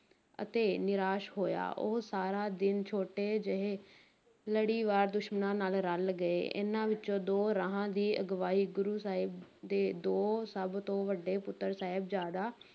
ਅਤੇ ਨਿਰਾਸ਼ ਹੋਇਆ, ਉਹ ਸਾਰਾ ਦਿਨ ਛੋਟੇ ਜਿਹੇ ਲੜੀਵਾਰ ਦੁਸ਼ਮਣਾਂ ਨਾਲ ਰਲ ਗਏ, ਇਨ੍ਹਾਂ ਵਿੱਚੋਂ ਦੋ ਰਾਹਾਂ ਦੀ ਅਗਵਾਈ ਗੁਰੂ ਸਾਹਿਬ ਦੇ ਦੋ ਸਭ ਤੋਂ ਵੱਡੇ ਪੁੱਤਰ ਸਾਹਿਬਜ਼ਾਦਾ